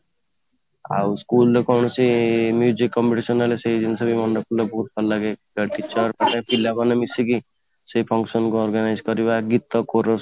ଆଉ school ରେ କୌଣସି competition ହେଲେ ସେଉ ଜିନିଷ କୁ ମାନେ ରଖିବାକୁ ବହୁତ ଭଲ ଲାଗେ teacher ପିଲା ମାନେ ମିଶିକି ସେଇ function କୁ organise କରିବା ଗୀତ corous